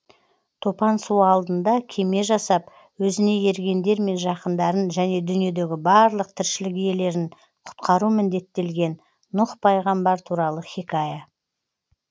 топан су алдында кеме жасап өзіне ергендер мен жақындарын және дүниедегі барлық тіршілік иелерін құтқару міндеттелген нұх пайғамбар туралы хикая